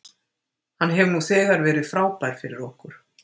Hann hefur nú þegar verið frábær fyrir okkur.